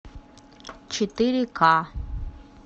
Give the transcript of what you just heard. четыре ка